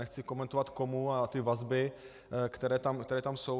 Nechci komentovat komu a ty vazby, které tam jsou.